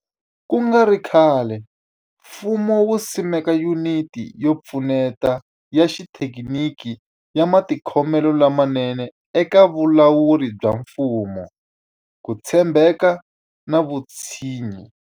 Ku nga ri khale, mfumo wu simeke Yuniti yo Pfuneta ya Xithekiniki ya Matikhomelo lamanene eka Vulawuri bya Mfumo, Ku tshembeka na Vutshinyi.